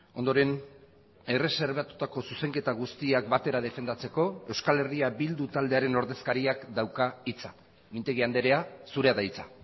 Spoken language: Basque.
ondoren erreserbatutako zuzenketa guztiak batera defendatzeko euskal herria bildu taldearen ordezkariak dauka hitza mintegi andrea zurea da hitza